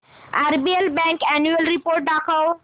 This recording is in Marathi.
आरबीएल बँक अॅन्युअल रिपोर्ट दाखव